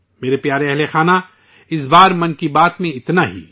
میرے پیارے ہم وطنو، اس بار 'من کی بات' میں اتنا ہی